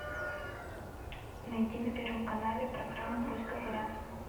найти на первом канале программу пусть говорят